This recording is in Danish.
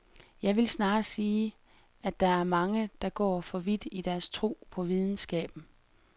Jeg vil snarere sige, at der er mange, der går for vidt i deres tro på videnskaben.